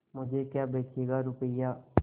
मुझे क्या बेचेगा रुपय्या